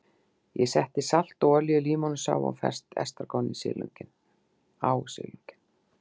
Ég setti salt og olíu, límónusafa og ferskt estragon á silunginn.